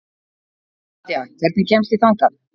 Nadja, hvernig kemst ég þangað?